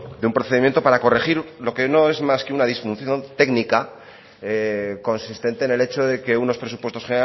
de un procedimiento para corregir lo que no es más que una disfunción técnica consistente en el hecho de que unos presupuestos